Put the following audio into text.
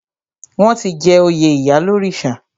Wọ́n ti jẹ oyè ìyálórìṣà.